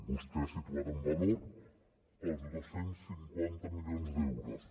vostè ha posat en valor els dos cents i cinquanta milions d’euros